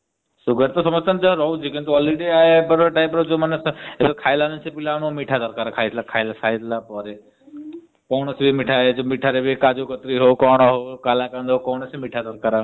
sugar ତ ରହୁଛି ହେଲେ already ଏବେର ସେ ପିଲାଙ୍କୁ ଖାଇବା ମାନେ ମିଠା ଦରକାର ଖାଇବା ପରେ। କୌଣସି ବି ମିଠା କାଜୁ କଟୋରି ହଊ କଣ ହାଉ କାଲା କନଡେରି ହାଉ।